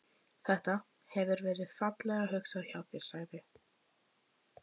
Þetta. hefur verið fallega hugsað hjá þér sagði